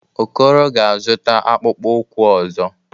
Okoro ga-azụta akpụkpọ ụkwụ ọzọ.